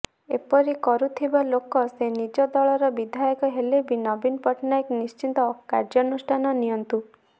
ଏପରି କରୁଥିବା ଲୋକ ସେ ନିଜ ଦଳର ବିଧାୟକ ହେଲେ ବି ନବୀନ ପଟ୍ଟନାୟକ ନିଶ୍ଚିତ କାର୍ଯ୍ୟନୁଷ୍ଠାନ ନିଅନ୍ତୁ